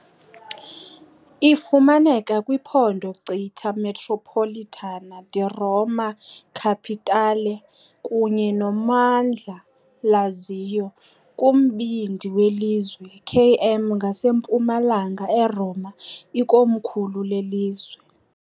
Ifumaneka kwiphondo Città metropolitana di Roma Capitale kunye nommandla Lazio, kumbindi welizwe, km ngasempumalanga eRoma, ikomkhulu lelizwe.